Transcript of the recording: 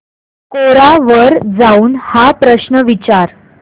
कोरा वर जाऊन हा प्रश्न विचार